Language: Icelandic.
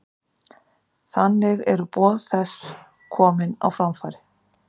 Þannig eru boð þess komin á framfæri.